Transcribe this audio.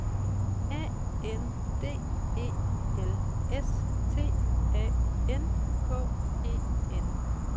A N D E L S T A N K E N